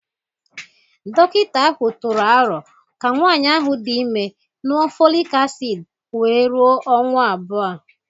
Dọkịta ahụ tụrụ aro ka nwanyị ahụ dị ime ñụọ folic acid wee rụo ọnwa abụọ